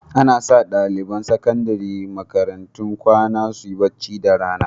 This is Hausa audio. Ana sa ɗaliban sakandare a makarantun kwana su yi bacci da rana.